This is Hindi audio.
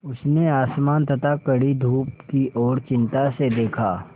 उसने आसमान तथा कड़ी धूप की ओर चिंता से देखा